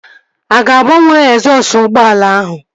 Ị ga-agbanwe egzọsụ ụgbọala ahụ?